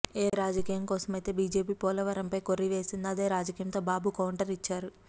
ఏ రాజకీయం కోసం అయితే బీజేపీ పోలవరంపై కొర్రీ వేసిందో అదే రాజకీయంతో బాబు కౌంటర్ ఇచ్చారు